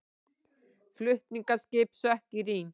Flutningaskip sökk í Rín